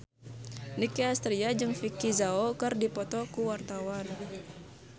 Nicky Astria jeung Vicki Zao keur dipoto ku wartawan